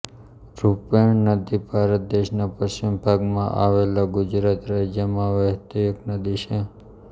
રૂપેણ નદી ભારત દેશના પશ્ચિમ ભાગમાં આવેલા ગુજરાત રાજયમાં વહેતી એક નદી છે